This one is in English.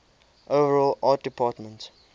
overall art department